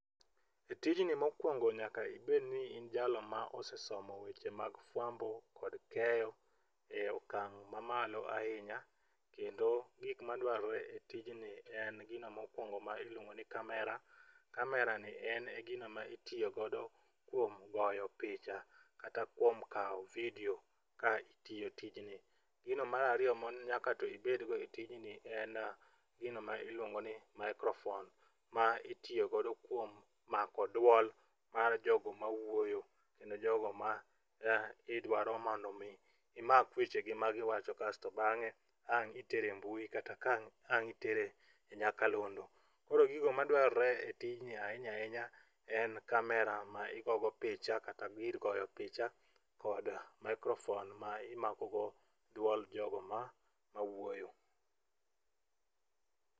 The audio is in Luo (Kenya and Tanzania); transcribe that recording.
E tijni mokwongo nyaka ibedni in jalo mosesomo weche mag fwambo kod keyo e okang' mamalo ahinya, kendo gik madwarore e tijni en gino mokwongo ma iluongo ni kamera, kamerani en gino ma itiyogodo kuom goyo picha kata kuom kawo vidio ka itiyo tijni. Gino mar ariyo manyaka to ibedgo e tijni en gino ma iluongo ni maikrofon ma itiyogodo kuom mako duol mar jogo mawuoyo kendo jogo ma idwaro mondo omi imak wechegi ma giwacho kasto bang'e ang' itere mbui kata ang' itere nyakalondo. Koro gigo madwarore e tijni ahinya ahinya en kamera ma igogo picha kata gir goyo picha kod maikrofon ma imakogo dwol jogo mawuoyo.